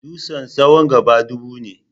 Dutsen tsawon gaba dubu ne.